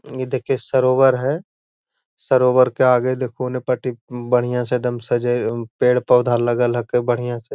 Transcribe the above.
ये देखिये सरोवर है। सरोवर के आगे देखो ओने पटी उम बढियां से एकदम सज़ाएल पेड़ पौधा लागल हके बढ़िया से।